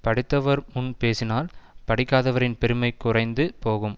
படித்தவர் முன் பேசினால் படிக்காதவரின் பெருமை குறைந்து போகும்